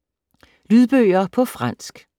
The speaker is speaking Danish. Lydbøger på fransk